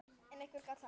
En hvernig gekk þar?